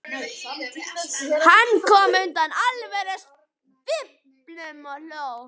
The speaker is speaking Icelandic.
Hann kom undan alvörusvipnum og hló.